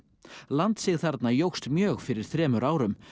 landsig þarna jókst mjög fyrir þremur árum